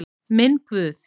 Minn Guð.